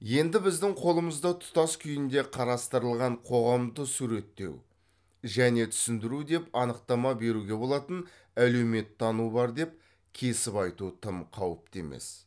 енді біздің қолымызда тұтас күйінде қарастырылған қоғамды суреттеу және түсіндіру деп анықтама беруге болатын әлеуметтану бар деп кесіп айту тым қауіпті емес